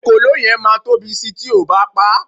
ekòló yen ma Tobi Si ti oo ba pa